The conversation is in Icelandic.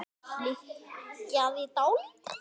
Hann hikaði dálitla stund.